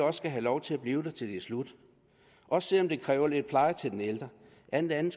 have lov til at blive der til det slutter også selv om det kræver lidt pleje til den ældre alt andet